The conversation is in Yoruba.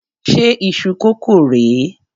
Ṣé iṣu kókò rè é?